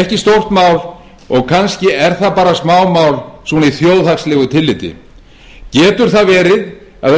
ekki stórt mál og kannski er það bara smámál svona í þjóðhagslegu tilliti getur það verið að það skipti engu máli